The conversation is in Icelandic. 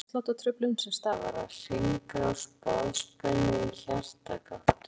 Gáttaflökt er hjartsláttartruflun sem stafar af hringrás boðspennu í hjartagáttum.